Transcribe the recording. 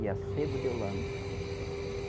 E a sebo de holanda.